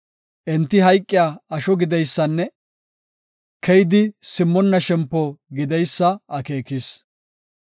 Enti hayqiya asho gideysanne keyidi simmonna shempo gideysa akeekis.